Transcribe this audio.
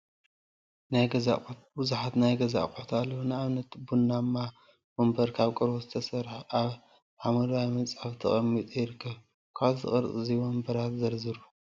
ናይ ገዛ አቁሑ ቡዙሓት ናይ ገዛ አቁሑትአለው፡፡ ንአብነት ቡናማ ወንበር ካብ ቆርበት ዝተሰርሐ አብ ሓመደዋይ ምንፃፍ ተቀሚጡ ይርከብ፡፡ ካልኦት ቅርፂ ወንበራት ዘርዝሩ፡፡